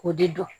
K'o de dɔn